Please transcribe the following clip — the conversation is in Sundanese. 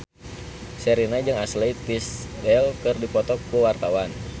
Sherina jeung Ashley Tisdale keur dipoto ku wartawan